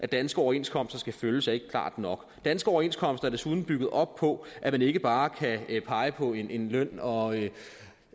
danske overenskomster skal følges er ikke klart nok danske overenskomster er desuden bygget op på at man ikke bare kan pege på en løn og